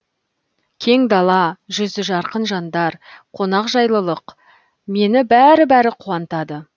кең дала жүзі жарқын жандар қонақжайлылық мені бәрі бәрі қуантады